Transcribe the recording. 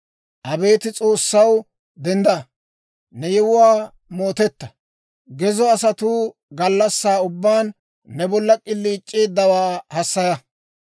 Abeet S'oossaw, dendda; ne yewuwaa mootetta. Gezo asatuu gallassaa ubbaan, ne bolla k'iliic'eeddawaa hassaya.